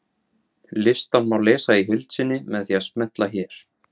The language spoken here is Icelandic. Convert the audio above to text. Listann má lesa í heild sinni með því að smella hér.